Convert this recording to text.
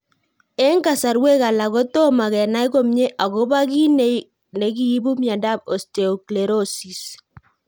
Eng' kasarwek alak kotomo kenai komie akopo kiy nekiipu miondop osteosclerosis.